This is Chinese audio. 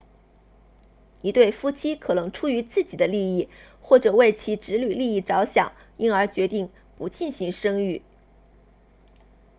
一对夫妻可能出于自己的利益或者为其子女利益着想因而决定不进行生育